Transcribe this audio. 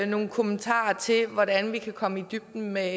nogle kommentarer til hvordan vi kan komme i dybden med